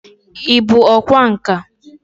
Ị bụ ọkwá nkà?